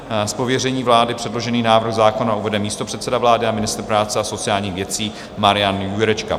Z pověření vlády předložený návrh zákona uvede místopředseda vlády a ministr práce a sociálních věcí Marian Jurečka.